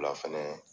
La fɛnɛ